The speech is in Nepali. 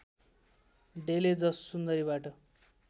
डेले जस सुन्दरीबाट